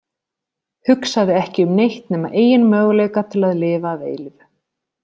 Hugsaði ekki um neitt nema eigin möguleika til að lifa að eilífu.